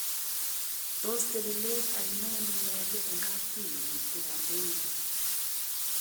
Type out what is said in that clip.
Tos telelet ainon nenyolu eng kapchi nemiten kadoinatet.